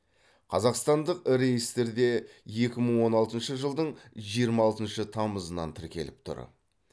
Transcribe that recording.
қазақстандық реестрде екі мың он алтыншы жылдың жиырма алтыншы тамызынан тіркеліп тұр